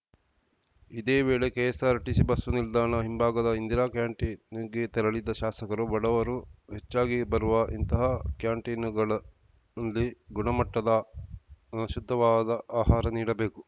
ಇದೇ ವೇಳೆ KSRTC bus ನಿಲ್ದಾಣ ಹಿಂಭಾಗದ ಇಂದಿರಾ ಕ್ಯಾಂಟೀನ್‌ಗೆ ತೆರಳಿದ ಶಾಸಕರು ಬಡವರು ಹೆಚ್ಚಾಗಿ ಬರುವ ಇಂತಹ ಕ್ಯಾಂಟೀನುಗಳಲ್ಲಿ ಗುಣಮಟ್ಟದ ಶುದ್ಧವಾದ ಆಹಾರ ನೀಡಬೇಕು